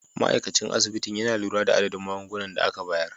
Ma'aikacin asibitin yana lura da adadin magungunan da aka bayar.